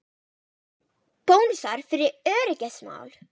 Bónusar fyrir öryggismál